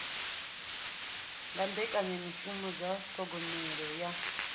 nga mbekanyamishumo dza thogomelo yo